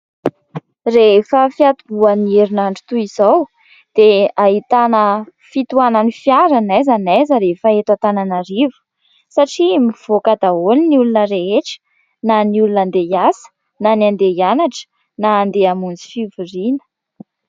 Rehefa fiantomboan'ny herinandro toy izao dia ahitana fitohanan'ny fiara n'aiza n'aiza rehefa eto Antananarivo satria mivoaka daholo ny olona rehetra na ny olona hande hiasa, na ny handeha hianatra, na handeha hamonjy fivoriana.